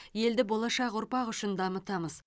елді болашақ ұрпақ үшін дамытамыз